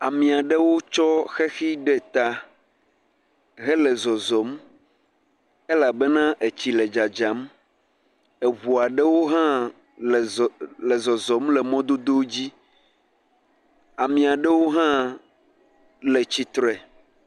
Ami ɖewo tsɔ xexi ɖe ta hele zɔzɔm, elabena etsi le dzadzam, eŋu aɖewo hã le zɔ..e..zɔzɔm le mɔdodowo dzi, ame aɖewo hã le tsitre.